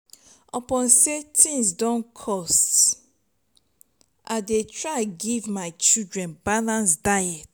upon sey tins dey cost i dey try give my children balance diet.